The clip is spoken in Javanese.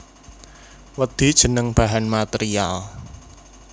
Wedhi jeneng bahan material